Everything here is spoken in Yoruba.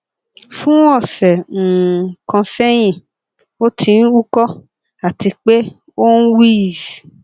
fun ọsẹ um kan sẹyin o ti n uko ati pe oun wheeze